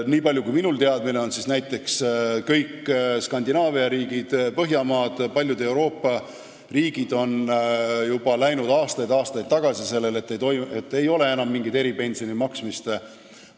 Niipalju kui minul teadmisi on, võin öelda, et näiteks kõik Skandinaavia riigid, Põhjamaad, üldse paljud Euroopa riigid on juba aastaid-aastaid tagasi valinud selle tee, et ei ole enam mingit eripensionide maksmist.